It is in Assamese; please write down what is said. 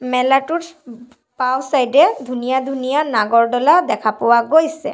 মেলাটোত বাওঁ চাইড এ ধুনীয়া ধুনীয়া নাগৰ দলা দেখা পোৱা গৈছে।